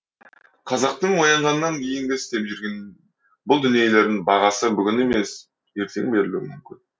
қазақтың оянғаннан кейінгі істеп жүрген бұл дүниелерің бағасы бүгін емес ертең берілуі мүмкін